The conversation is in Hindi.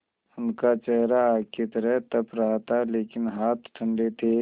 उनका चेहरा आग की तरह तप रहा था लेकिन हाथ ठंडे थे